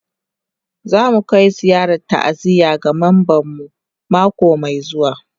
Za mu kai ziyarar ta'aziyya ga memban mu mako mai zuwa